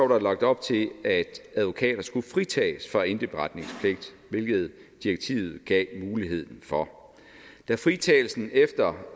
der lagt op til at advokater skulle fritages for indberetningspligt hvilket direktivet gav mulighed for da fritagelsen efter